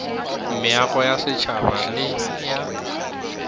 meago ya setšhaba le ya